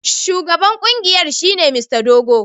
Shugaban kungiyar shine Mr Dogo.